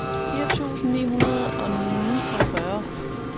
fire tusind ni hundrede og niogfyrre